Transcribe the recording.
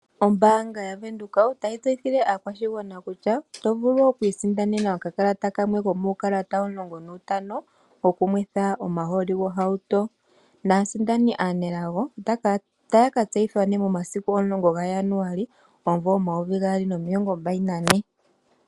Ombaanga yaVenduka otayi tseyithile aakwashigwana kutya otovulu okwiisindanena okakalata kamwe komukalata omulongonantano gokunwitha omahooli. Aasindani aanelago otaya ka tseyithwa momasiku omulongo gaJanuali omumvo omayovi gaali nomilongombali nane.